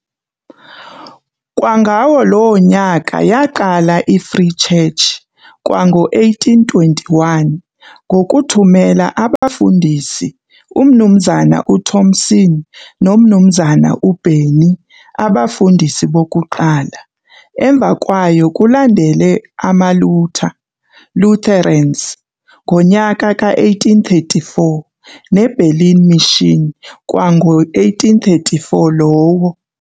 Kwangawo loo nyaka yaqala i-Free Church, kwango-1821, ngokuthumela abafundisi umnumzana uThomson nomnumzana uBennie, abafundisi bokuqala. Emva kwayo kulandele amaLutha, Lutherans, ngonyaka ka-1834 neBerlin Mission kwango-1834 lowo.